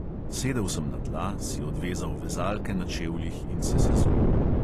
Sedel sem na tla, si odvezal vezalke na čevljih in se sezul.